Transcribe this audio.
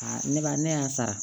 ne ba ne y'a sara